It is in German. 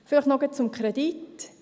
Vielleicht noch zum Kredit.